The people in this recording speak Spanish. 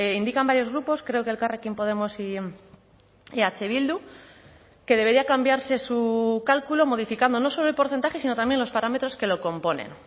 indican varios grupos creo que elkarrekin podemos y eh bildu que debería cambiarse su cálculo modificando no solo el porcentaje sino también los parámetros que lo componen